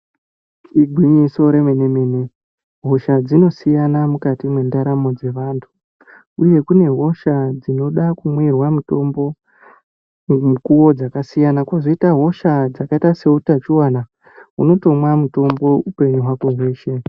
Igwinyiso remene mene hosha dzinosiyana mukati mwendaramo dzevantu uye kune hosha dzinoda kumwirwa mutombo mukuwo dzakasiyana, kozoita hosha dzakaita seutachiwana unotomwa mutombo upenyu hwako hweshe.